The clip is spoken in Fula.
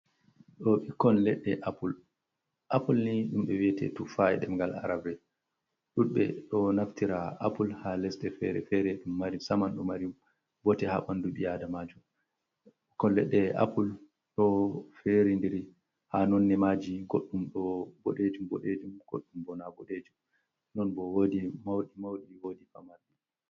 Ɓikkon leɗɗe apple, Apple ni ɗum ɓe wiete tufa’i ɗeɓngal arabre ɗuɗɓe ɗo naftira apple ha lesɗe fere, ɗum mari saman ɗum mari bote ha ɓandu, ɓi adamajo ɓikkon leɗɗe apple ɗo feri ndiri ha nondne maji goɗɗum ɗo boɗejum boɗejum goɗɗum bo na boɗejum, non bo wodi mauɗi wodi pamari.